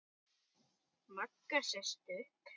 Magga sest upp.